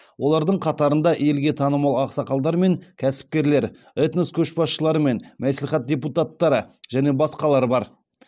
олардың қатарында елге танымал ақсақалдар мен кәсіпкерлер этнос көшбасшылары мен мәслихат депутаттары және басқалар бар